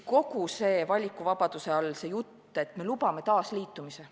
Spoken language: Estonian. Valikuvabaduse all on see jutt, et me lubame taasliitumist.